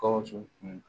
Gawusu kun